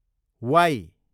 Y